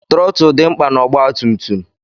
trọtul dị mkpa na ọgba tum tum.